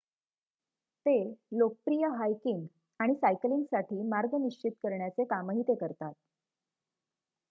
ते लोकप्रिय हायकिंग आणि सायकलिंगसाठी मार्ग निश्चित करण्याचे कामही ते करतात